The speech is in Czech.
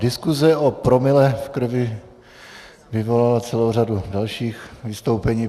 Diskuse o promile v krvi vyvolala celou řadu dalších vystoupení.